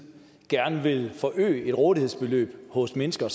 gerne vil forøge et rådighedsbeløb hos mennesker